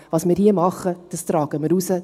Was wir hier tun, das tragen wir hinaus.